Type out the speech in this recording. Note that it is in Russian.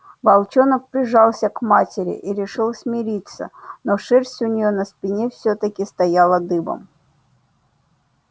волчонок прижался к матери и решил смириться но шерсть у неё на спине всё-таки стояла дыбом